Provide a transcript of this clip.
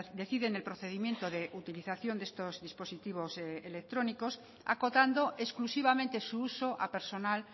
deciden el procedimiento de utilización de estos dispositivos electrónicos acotando exclusivamente su uso a personal